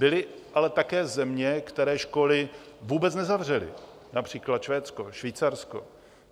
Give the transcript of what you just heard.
Byly ale také země, které školy vůbec nezavřely, například Švédsko, Švýcarsko.